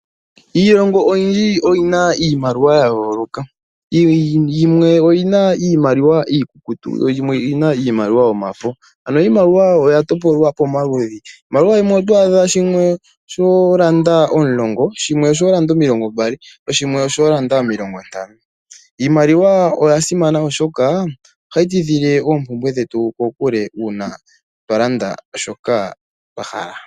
Iilonga oyindji oyina iimaliwa yayoolaka. Yimwe oyina iimaliwa iikukutu yoyimwe oyina iimaliwa yomafo. Ano iimaliwa oya topolwa pomaludhi . Iimaliwa yimwe oto adha shimwe osho landa omulongo, shimwe osholanda omilongo mbali shoshimwe osho landa omilongo ntano. Iimaliwa oyasimana oshoka ohayi tidhile oompumbwe dhetu kokule una twalanda shoka twahala.